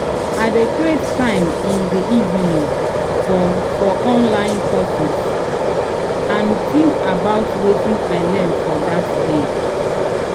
i dey create time in de evening for for online courses and think about wetin i learn for dat day